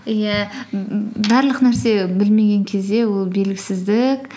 иә барлық нәрсе білмеген кезде ол белгісіздік